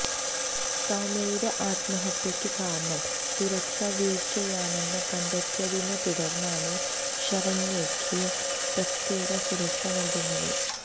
സൌമ്യയുടെ ആത്മഹത്യയ്ക്ക് കാരണം സുരക്ഷാ വീഴ്ചയാണെന്ന് കണ്ടെത്തിയതിനെ തുടര്ന്നാണ് ശരണ്യയ്ക്ക് പ്രത്യേക സുരക്ഷ നൽകുന്നത്